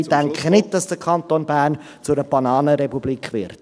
Ich denke nicht, dass der Kanton Bern zu einer Bananenrepublik wird.